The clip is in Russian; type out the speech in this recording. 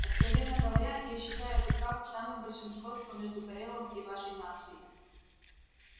откровенно говоря я считаю этот факт самым большим сходством между корелом и вашей нацией